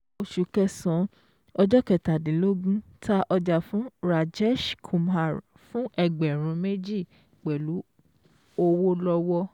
Oṣù kẹsàn-án ọjọ́ kẹtàdínlógún, ta ọjà fún Rajesh Kumar fún ẹgbẹ̀rún méjì pẹ̀lú ọwọ́ lọ́wọ́